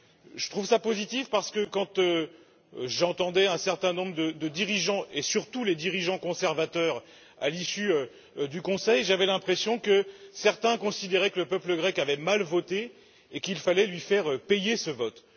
Je trouve cela positif parce que, lorsque j'entendais un certain nombre de dirigeants et surtout les dirigeants conservateurs à l'issue du Conseil, j'avais l'impression que certains considéraient que le peuple grec avait mal voté et qu'il fallait lui faire payer ce vote.